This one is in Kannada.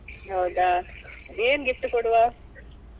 ಹೌದಾ ಏನು gift ಕೊಡುವ?